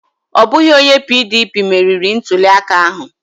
Ọ bụghị onye PDP meriri ntuliaka ahụ.